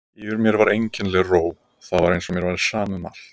Yfir mér var einkennileg ró, það var eins og mér væri sama um allt.